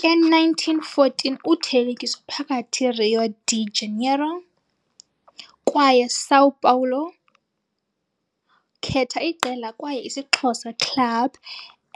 ke 1914 uthelekiso phakathi Rio de Janeiro kwaye São Paulo khetha iqela kwaye isixhosa club